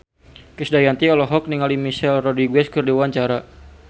Krisdayanti olohok ningali Michelle Rodriguez keur diwawancara